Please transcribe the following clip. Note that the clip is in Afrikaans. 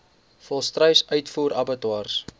volstruis uitvoer abattoirs